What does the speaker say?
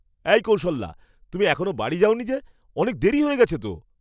এই কৌশল্যা, তুমি এখনও বাড়ি যাওনি যে? অনেক দেরি হয়ে গেছে তো!